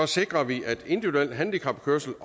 sikrer vi at individuel handicapkørsel